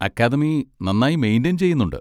Academy നന്നായി maintain ചെയ്യുന്നുണ്ട്.